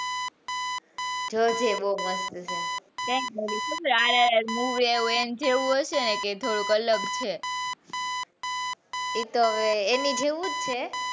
જો ચેવો મસ્ત હે એમનું કેઉં હશે કે થોડું અલગ છે એતો હવે એની જેવો જ છે.